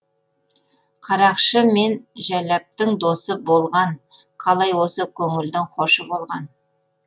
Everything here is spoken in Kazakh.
қарақшы мен жәләптың досы болған қалай осы көңілдің хошы болған